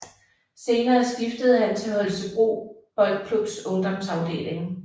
Senere skiftede han til Holstebro Boldklubs ungdomsafdeling